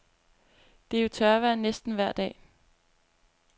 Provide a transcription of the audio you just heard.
Det er jo tørvejr næsten vejr dag.